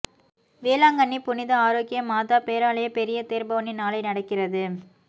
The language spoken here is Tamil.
வேளாங்கண்ணி புனித ஆரோக்கிய மாதா பேராலய பெரிய தேர்பவனி நாளை நடக்கிறது